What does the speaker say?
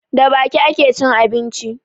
Da baki ake cin abinci